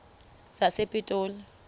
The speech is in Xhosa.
sasepitoli